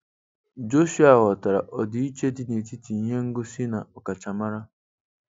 Jọshụa ghọtara ọdịiche dị n'etiti ihe ngosi na ọkachamara.